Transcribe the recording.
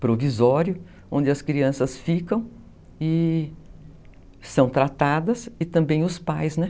provisório, onde as crianças ficam e são tratadas e também os pais, né?